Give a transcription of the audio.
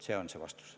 See on mu vastus.